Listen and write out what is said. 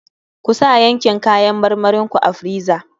Kusa yankin kayan marmarin ku a friza.